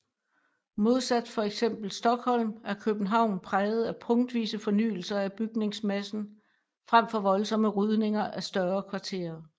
Modsat fx Stockholm er København præget af punktvise fornyelser af bygningsmassen frem for voldsomme rydninger af større kvarterer